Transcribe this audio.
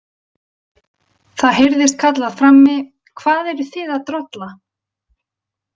Það heyrðist kallað frammi: Hvað eruð þið að drolla?